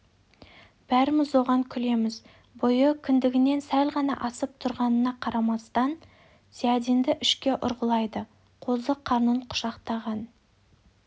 бәріміз оған күлеміз бойы кіндігінен сәл ғана асып тұрғанына қарамастан зиядинді ішке ұрғылайды қозы қарнын құшақтаған